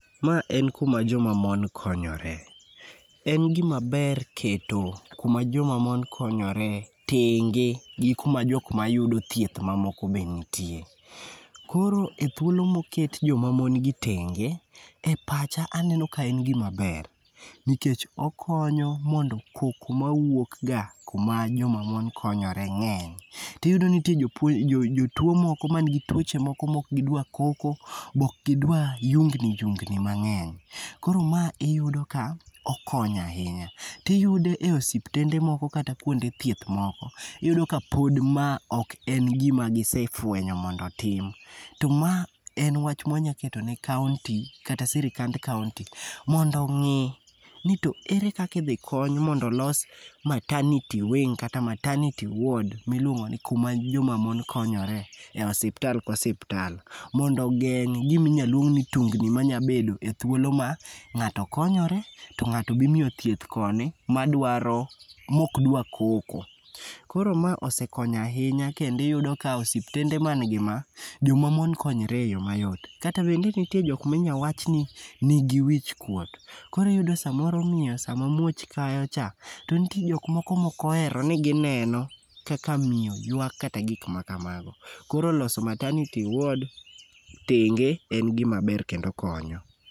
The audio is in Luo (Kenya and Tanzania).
Ma en kuma joma mon konyore. En gimaber keto kuma joma mon konyore tenge gi kuma jok mayudo thieth mamoko be nitie. Koro e thuolo moket joma mon gi tenge,e pacha aneno ka en gimaber nikech okonyo mondo koko mawuok ga kuma joma mon konyore ng'eny. Tiyudo ni nitie jotuwo moko manigi tuoche moko mok gidwa koko, be ok gidwa yungni yungni mang'eny. Koro ma iyudo ka okonyo ahinya. Tiyudo e osiptende moko kata kuonde thieth moko, tiyudo ka pod ma ok en gima gisefwenyo, mondo otim, to ma en wach mwanya keto ne kaonti kata sirikand kaonti, mondo ong'i ni to ere kaka idhi kony mondo olos maternity wing kata maternity ward miluongoni kuma joma mon konyore e osiptal ka osiptal, mondo ogeng' giminyal luong ni tungni manyabedo e thuolo ma ng'ato konyore.to ng'ato be imiyo thieth koni, mokdwa koko. Koro ma osekonyo ahinya kendo iyudo ka osiptende man gi ma, joma mon konyre e yo mayot. Kata bedni nitie jok minya wachni nigi wichkuot, koro iyudo miyo sama muoch kayocha, to nitie jok moko moohero ni gineno kaka miyo ywak kata gik makamago. Koro loso maternity ward tenge en gimaber kendo konyo.